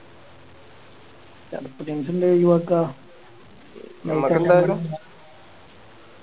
ചടപ്പ് Teams നെ എല്ലാ ഒഴിവാക്ക